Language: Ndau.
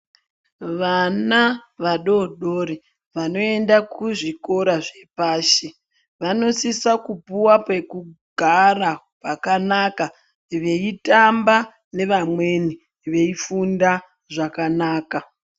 Vana vadodori vanoenda kuzvikora zvepashi vanosisa kupuwa pekugara pakanaka veitamba nevamweni veifunda zvakanaka